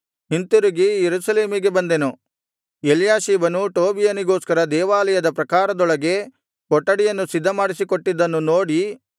ಹಿಂತಿರುಗಿ ಯೆರೂಸಲೇಮಿಗೆ ಬಂದೆನು ಎಲ್ಯಾಷೀಬನು ಟೋಬೀಯನಿಗೋಸ್ಕರ ದೇವಾಲಯದ ಪ್ರಾಕಾರದೊಳಗೆ ಕೊಠಡಿಯನ್ನು ಸಿದ್ಧಮಾಡಿಕೊಟ್ಟಿದ್ದನ್ನು ನೋಡಿ